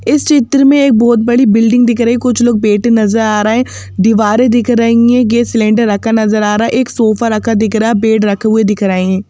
इस चित्र में एक बहुत बड़ी बिल्डिंग दिख रही हैं कुछ लोग बेटे नजर आ रहा हैं दीवारें दिख रही हैं गैस सिलेंडर रखा नजर आ रहा हैं एक सोफा रखा दिख रहा हैं बेड रखे हुए दिख रहे हैं।